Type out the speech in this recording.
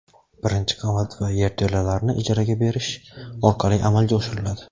birinchi qavat va yerto‘lalarni ijaraga berish orqali amalga oshiriladi.